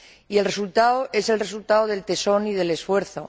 Y el resultado es el resultado del tesón y del esfuerzo.